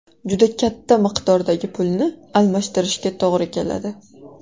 Juda katta miqdordagi pulni almashtirishga to‘g‘ri keladi.